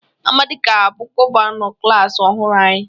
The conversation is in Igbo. Amadi ga-abụ gọvanọ klas ọhụrụ anyị